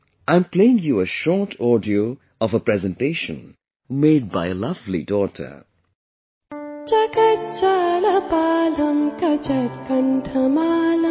I am playing you a short audio of a presentation made by a lovely daughter...